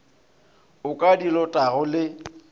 o ka di lotago le